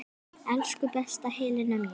Elsku besta Helena mín.